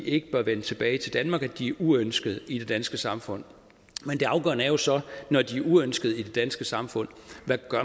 ikke bør vende tilbage til danmark at de er uønskede i det danske samfund men det afgørende er jo så når de er uønskede i det danske samfund hvad